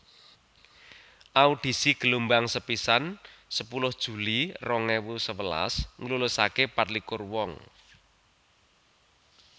Audisi gelombang sepisan sepuluh Juli rong ewu sewelas nglulusaké patlikur wong